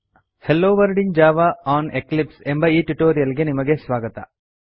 hello world in Java on Eclipse ಎಂಬ ಈ tutorial ಗೆ ನಿಮಗೆ ಸ್ವಾಗತ